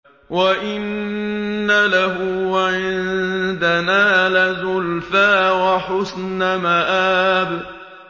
وَإِنَّ لَهُ عِندَنَا لَزُلْفَىٰ وَحُسْنَ مَآبٍ